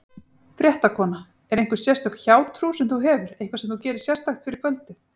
Fréttakona: Er einhver sérstök hjátrú sem þú hefur, eitthvað sem þú gerir sérstakt fyrir kvöldið?